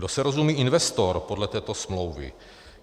Kdo se rozumí investorem podle této smlouvy?